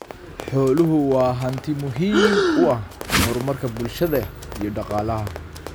Xooluhu waa hanti muhiim u ah horumarka bulshada iyo dhaqaalaha.